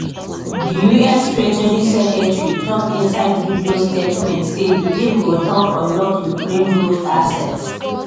di us treasury secretary tok inside video statement say di deal go help unlock ukraine growth assets